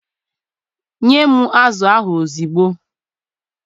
Nye m azụ ahụ ozugbo!